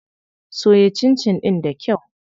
Soya cincin ɗin da kyau.